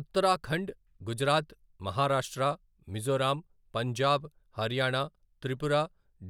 Uttarakhand, Gujarat, Maharashtra, Mizoram, Punjab, Haryana, Tripura,